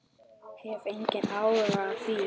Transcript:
Hef engan áhuga á því.